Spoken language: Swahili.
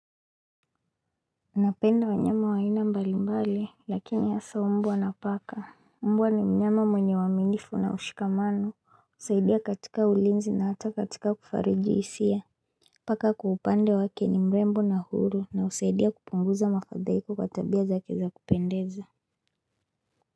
Unapenda wanyama wa aina mbali mbali lakini hasa mbwa na paka Mbwa ni mnyama mwenye uaminifu na ushikamano husaidia katika ulinzi na hata katika kufariji hisia Paka kwa upande wake ni mrembo na huru na husaidia kupunguza mafadhaiko kwa tabia zake za kupendeza.